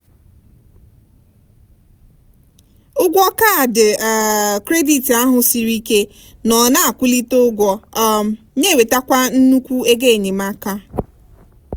ụgwọ kaadị um kredit ahụ siri ike nọ na-akwulite ụgwọ um na-ewetekwa nnukwu ego enyemaka.